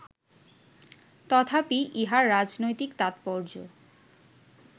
তথাপি ইহার রাজনৈতিক তাৎপর্য